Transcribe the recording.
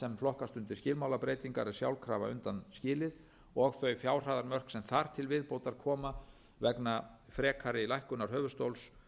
flokkast undir skilmálabreytingar er sjálfkrafa undanskilið og þau fjárhæðarmörk sem þar til viðbótar koma vegna frekari lækkunar höfuðstóls